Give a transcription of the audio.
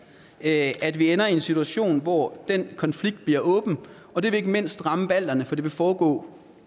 at at vi ender i en situation hvor den konflikt bliver åben og det vil ikke mindst ramme balterne for det vil foregå